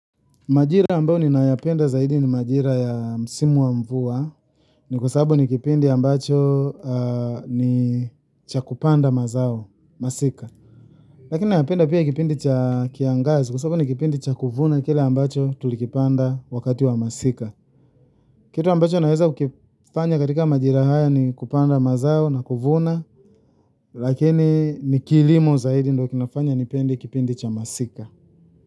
Majira ambayo ninayapenda zaidi ni majira ya msimu wa mvua. Ni kwa sababu ni kipindi ambacho ni cha kupanda mazao, masika. Lakini ninapenda pia kipindi cha kiangazi kwa sababu ni kipindi cha kuvuna kile ambacho tulikipanda wakati wa masika. Kitu ambacho naweza kukifanya katika majira haya ni kupanda mazao na kuvuna. Lakini ni kilimo zaidi ndiyo kinachonifanya nipende kipindi cha masika.